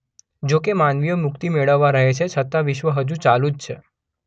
જો કે માનવીઓ મુક્તિ મેળવતા રહે છે છતાં વિશ્વ હજુ ચાલુ જ છે.